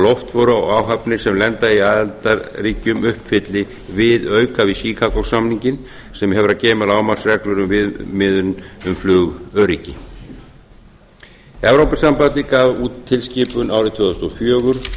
loftför og áhafnir sem lenda í aðildarríkjum uppfylli viðauka við chicago samninginn sem hefur að geyma lágmarksreglur um viðmiðun um flugöryggi evrópusambandið gaf út tilskipun árið tvö þúsund og fjögur